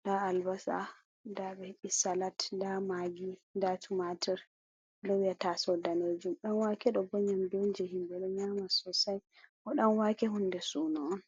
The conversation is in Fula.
nda tingere, nda ɓe he'i salat, nda magi, nda tumatir, ɓe loowi haa tasowo daneejum. Ɗanwake ɗo bo nƴamdu on, je himɓe ɗo nƴama masin, bo danwake hunde suuno on.